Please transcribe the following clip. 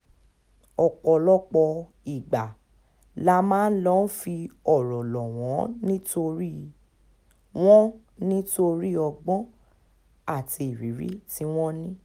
ọ̀pọ̀lọpọ̀ ìgbà la máa ń lọ́ọ́ fi ọ̀rọ̀ lọ̀ wọ́n nítorí wọ́n nítorí ọgbọ́n àti ìrírí tí wọ́n ní